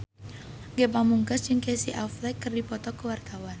Ge Pamungkas jeung Casey Affleck keur dipoto ku wartawan